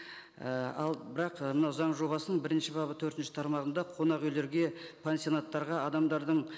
і ал бірақ мынау заң жобасының бірінші бабы төртінші тармағында қонақ үйлерге пансионаттарға адамдардың